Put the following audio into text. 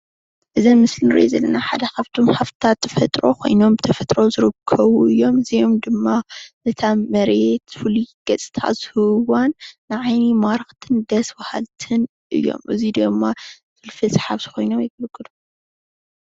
አዚ ኣብ ምስሊ እንሪዞ ዘለና ሓደ ካብቶ ሃፍትታት ተፈጥሮ ኮይኖም ብተፈጥሮ ዝርከቡ እዮም፡፡ እዚኦም ድማ ነታ መሬት ፍሉይ ገፅታ ዝህብዋን ንዓይኒ ማራክትን ደስ በሃልትን እዮም፡፡ እዚ ድማ ፍልፍል ኮይኖም የገልግሉ፡፡